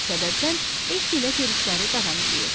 Bu səbəbdən E ilə görüşləri davam eləyirdi.